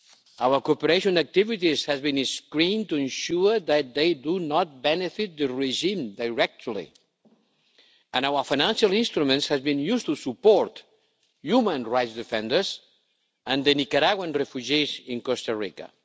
Our cooperation activities have been screened to ensure that they do not benefit the regime directly and our financial instruments have been used to support human rights defenders and the Nicaraguan refugees in Costa Rica.